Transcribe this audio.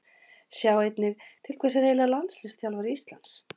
Sjá einnig: Til hvers er eiginlega landsliðsþjálfari Íslands?